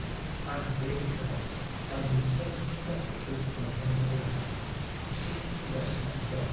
आं बे बोसोराव आंनि सेल्सनि टारगेटखौ मोनहैनायखौ लानानै इसे जिंगासिनानै दं।